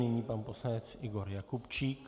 Nyní pan poslanec Igor Jakubčík.